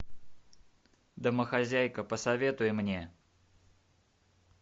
домохозяйка посоветуй мне